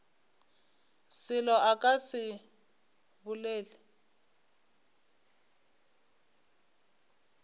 selo a ka se bolele